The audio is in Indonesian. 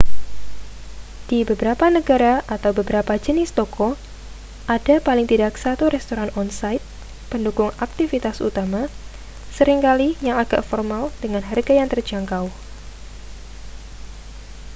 di beberapa negara atau beberapa jenis toko ada paling tidak satu restoran on-site pendukung aktivitas utama seringkali yang agak formal dengan harga yang terjangkau